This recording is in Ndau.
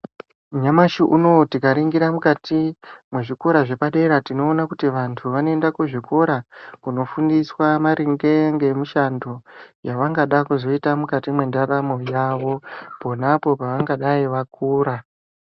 Nyamushi unou tingaringira mukati mwechikora zvepadera tinoona kuti vantu vanoenda kuzvikora kunofundiswa maringe ngemishando yavangada kuzoita mukati mwendaramo yavo ponapo pavangadai vakura.